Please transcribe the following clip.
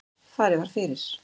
Farið var fyrir